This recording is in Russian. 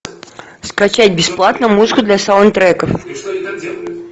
скачать бесплатно музыку для саундтреков